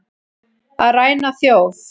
Að ræna þjóð